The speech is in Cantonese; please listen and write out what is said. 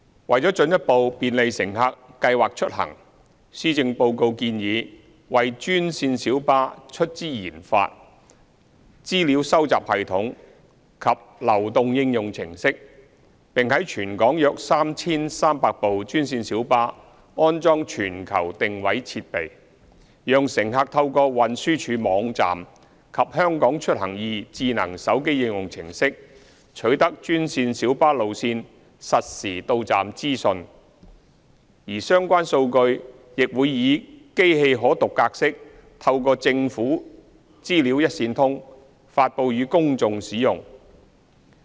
為了進一步便利乘客計劃出行，施政報告建議為專線小巴出資研發資料收集系統及流動應用程式，並在全港約 3,300 部專線小巴安裝全球定位設備，讓乘客透過運輸署網站及"香港出行易"智能手機應用程式取得專線小巴路線實時到站資訊，而相關數據亦會以機器可讀格式透過政府"資料一線通"發布予公眾使用。